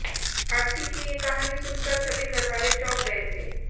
आरती की ये काहनी सुनकर सभी घरवाले चौंक गए थे